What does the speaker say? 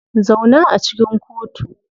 Zauna a cikin kotu.